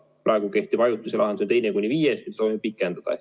Praegu kehtivat ajutist lahendust, teine kuni viies päev, me soovime pikendada.